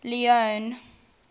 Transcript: leone